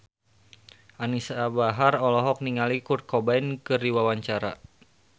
Anisa Bahar olohok ningali Kurt Cobain keur diwawancara